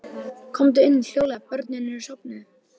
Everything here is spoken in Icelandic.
Komdu inn- hljóðlega- börnin eru sofnuð.